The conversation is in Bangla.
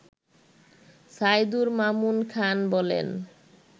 সাইদুর মামুন খান বলেন